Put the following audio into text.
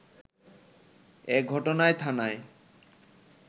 এঘটনায় থানায়